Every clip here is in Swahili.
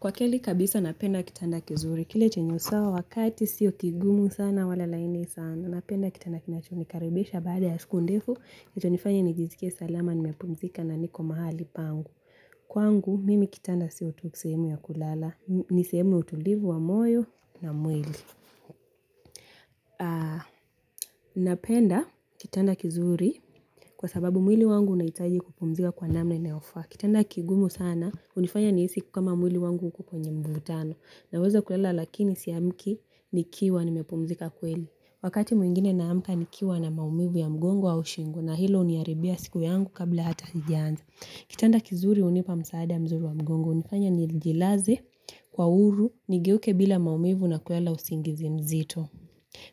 Kwa kweli kabisa napenda kitanda kizuri. Kile chenye usawa wa kati sio kigumu sana wala laini sana. Napenda kitanda kinachonikaribisha baada ya siku ndefu. Kitanifanya nijisike salama nimepumzika na niko mahali pangu. Kwangu mimi kitanda sio tu sehemu ya kulala. Ni sehemu ya utulivu wa moyo na mwili. Napenda kitanda kizuri kwa sababu mwili wangu unahitaji kupumzika kwa namna inayofaa. Kitanda kigumu sana hunifanya nihisi kama mwili wangu uko kwenye mvurutano. Naweza kulala lakini siamki nikiwa ni mepumzika kweli. Wakati mwingine na amka nikiwa na maumivu ya mgongo au shingo na hilo huniharibia siku yangu kabla hata haijaanza. Kitanda kizuri hunipa msaada mzuri wa mgongo, hunifanya nijilaze kwa uhuru nigeuke bila maumivu na kulala usingizi mzito.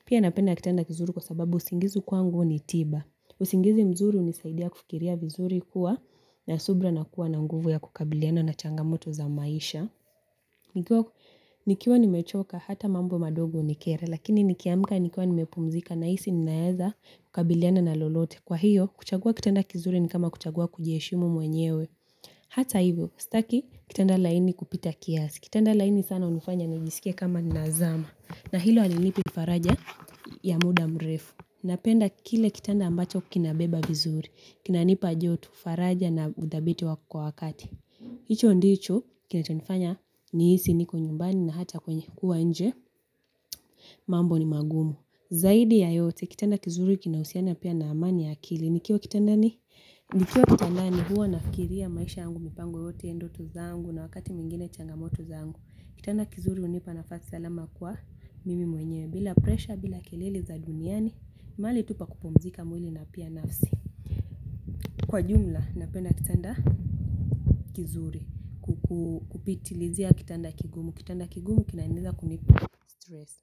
Pia napenda kitanda kizuri kwa sababu usingizi kwangu ni tiba. Usingizi mzuri hunisaidia kufikiria vizuri kuwa na subira na kuwa na nguvu ya kukabiliana na changamoto za maisha. Nikiwa nimechoka hata mambo madogo hunikera. Lakini nikiamika nikiwa nimepumzika nahisi ninaweza kukabiliana na lolote. Kwa hiyo kuchagua kitanda kizuri ni kama kuchagua kujiheshimu mwenyewe. Hata hivyo, sitaki kitanda laini kupita kiasi. Kitanda laini sana hunifanya nijisike kama nazama. Na hilo halinipi faraja ya muda mrefu. Napenda kile kitanda ambacho kinabeba vizuri. Kinanipa joto faraja na udhabiti wa kwa wakati hicho ndicho kinachonifanya ni hisi niko nyumbani na hata kwenye kuwa nje. Mambo ni magumu. Zaidi ya yote kitanda kizuri kinahusiana pia na amani ya akili. Nikiwa kitandani? Nikiwa kitandani huwa nafikiria maisha yangu mipango yote ndoto zangu na wakati mwingine changamoto zangu. Kitanda kizuri hunipa nafasi salama kwa mimi mwenye bila presha bila keleli za duniani. Mahali tu pakupumzika mwili na pia nafsi. Kwa jumla, napenda kitanda kizuri kupitilizia kitanda kigumu. Kitanda kigumu kinaweza kunistress.